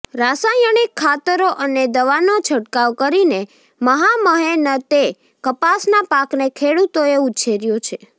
રાસાયણિક ખાતરો અને દવાનો છંટકાવ કરીને મહામહેનતે કપાસના પાકને ખેડૂતોએ ઉછેર્યો છે